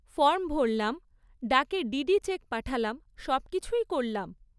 Form ভরলাম, ডাকে DD cheque পাঠালাম, সবকিছুই করলাম।